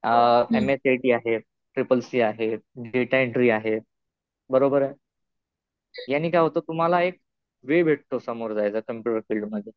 M S C I T आहे. Triple C आहे. Data entry आहे. बरोबर आहे. याने काय होतं, तुम्हाला एक वे भेटतो समोर जायला. कम्प्युटर फिल्ड मध्ये.